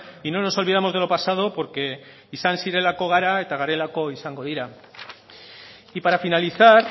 y no nos olvidamos de lo pasado porque izan zirelako gara eta garelako izango dira y para finalizar